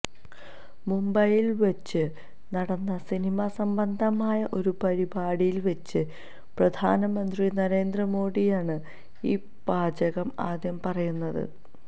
മുംബൈയില് വെച്ച് നടന്ന സിനിമാ സംബന്ധമായ ഒരു പരിപാടിയില് വെച്ച് പ്രധാനമന്ത്രി നരേന്ദ്ര മോഡിയാണ് ഈ വാചകം ആദ്യം പറയുന്നത്